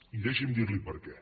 i deixi’m dir li per què